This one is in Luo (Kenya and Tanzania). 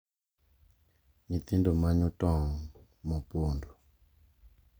Nyithindo manyo tong’ ma opondo,